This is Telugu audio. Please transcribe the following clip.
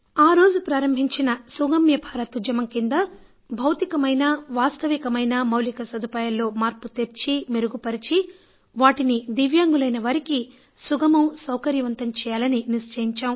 ఆరోజు ప్రారంభించిన సుగమ్య భారత్ ఉద్యమం కింద భౌతికమైన వాస్తవికమైన మౌలిక సదుపాయాల్లో మార్పు తెచ్చి మెరుగు పరచి వాటికి దివ్యాంగులైన వారికి సుగమం సౌకర్యవంతం చేయాలని నిశ్చయించాం